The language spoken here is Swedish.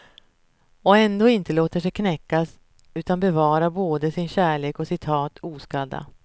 Och ändå inte låter sig knäckas utan bevarar både sin kärlek och sitt hat oskadda.